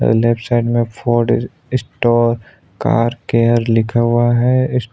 अ left side में Ford इ store car care लिखा हुआ है इस--